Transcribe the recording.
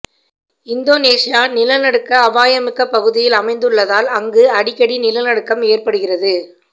Indonesia நிலநடுக்க அபாயமிக்க பகுதியில் அமைந்துள்ளதால் அங்கு அடிக்கடி நிலநடுக்கம் ஏற்படுகிறது